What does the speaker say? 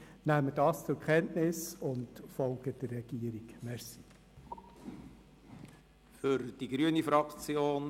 Lassen Sie uns das zur Kenntnis nehmen und der Regierung folgen.